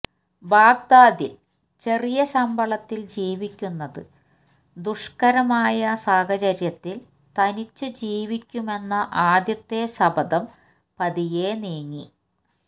ബാഗ്ദാദില് ചെറിയ ശമ്പളത്തില് ജീവിക്കുന്നത് ദുഷ്ക്കരമായ സാഹചര്യത്തില് തനിച്ചു ജീവിക്കുമെന്ന ആദ്യത്തെ ശപഥം പതിയെ നീങ്ങി